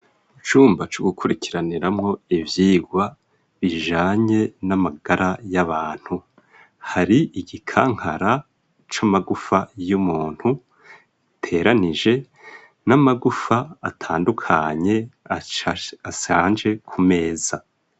Icumba co gukurikiraniramo ivyigwa bijanye n'amagara y'abantu hari igikankara c'amagufa y'umuntu giteranije n'amagufa atandukanye asanje ku meza.